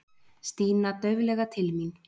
Stína dauflega til mín.